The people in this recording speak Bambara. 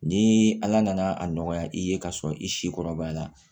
Ni ala nana a nɔgɔya i ye k'a sɔrɔ i si kɔrɔbaya la